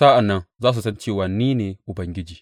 Sa’an nan za su san cewa ni ne Ubangiji.